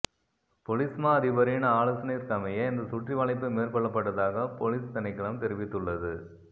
பொலிஸ்மா அதிபரின் ஆலோசனையிற்கமைய இந்த சுற்றிவளைப்பு மேற்கொள்ளப்பட்டதாக பொலிஸ் திணைக்களம் தெரிவித்துள்ளது